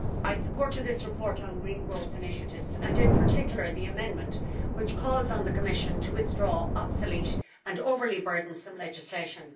Madam President, I supported this report on green growth initiatives and, in particular, the amendment which calls on the Commission to withdraw obsolete and overly burdensome legislation.